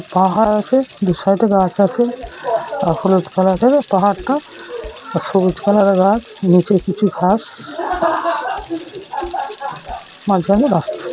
পাহাড় আছে দু সাইড -এ গাছ আছে আর হলুদ কালার এর পাহাড় টা আর সবুজ কালার - এর গাছ নিচে কিছু ঘাস স মাঝ খানে রাস্তা।